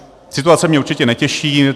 Situace mě určitě netěší.